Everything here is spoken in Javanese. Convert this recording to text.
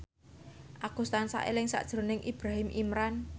Agus tansah eling sakjroning Ibrahim Imran